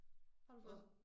Har du fået